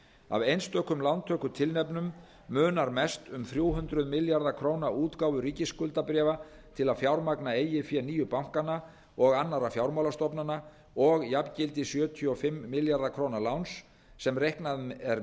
af einstökum lántökutilefnum munar mest um þrjú hundruð milljarða króna útgáfu ríkisskuldabréfa til að fjármagna eigið fé nýju bankanna og annarra fjármálastofnana og jafngildi sjötíu og fimm milljarða króna láns sem reiknað er